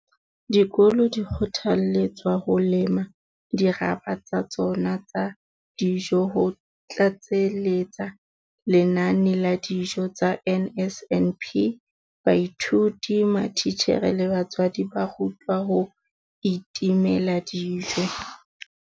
Dikolo di kgothaletswa ho lema dirapa tsa tsona tsa dijo ho tlatseletsa lenane la dijo tsa NSNP. Baithuti, matitjhere le batswadi ba rutwa ho itemela dijo.